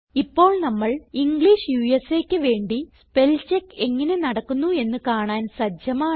ഇപ്പോൾ നമ്മൾ ഇംഗ്ലിഷ് USAക്ക് വേണ്ടി സ്പെൽചെക്ക് എങ്ങനെ നടക്കുന്നു എന്ന് കാണാൻ സജ്ജമാണ്